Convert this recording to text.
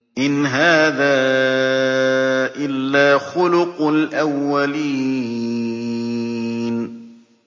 إِنْ هَٰذَا إِلَّا خُلُقُ الْأَوَّلِينَ